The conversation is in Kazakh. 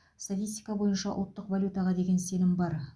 статистика бойынша ұлттық валютаға деген сенім бар